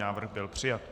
Návrh byl přijat.